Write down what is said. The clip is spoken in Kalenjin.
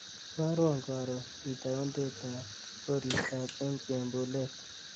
Ibarwon karon itaundetab koristob eng chembulet